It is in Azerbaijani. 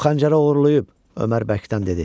O xəncəri oğurlayıb, Ömər Bəkdən dedi.